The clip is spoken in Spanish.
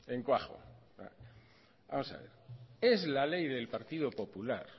en cuajo vamos a ver es la ley del partido popular